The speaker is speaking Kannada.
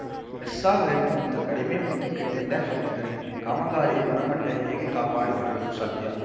ಎಸ್‌ಆರ್‌ ರೇಟ್‌ ಗಿಂತ ಕಡಿಮೆ ಮೊತ್ತಕ್ಕೆ ಟೆಂಡರ್‌ ಹಾಕಿದರೆ ಕಾಮಗಾರಿ ಗುಣಮಟ್ಟಹೇಗೆ ಕಾಪಾಡಿಕೊಳ್ಳಲು ಸಾಧ್ಯ